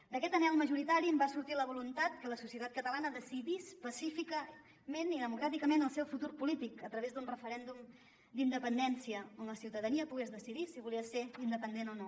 d’aquest anhel majoritari en va sortir la voluntat que la societat catalana decidís pacíficament i democràticament el seu futur polític a través d’un referèndum d’independència on la ciutadania pogués decidir si volia ser independent o no